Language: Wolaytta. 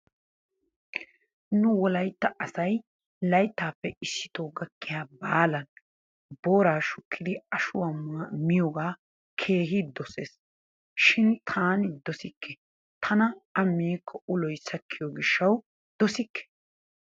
Nu wolaytta asay layttappe issittoo gakkiya baalan booraa shukkidi ashuwaa miyogaa keehi dosees shin taani dosikke tana A miikko uloy sakkiyo gishshawu dosikke.